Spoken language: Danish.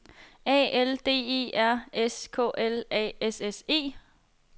A L D E R S K L A S S E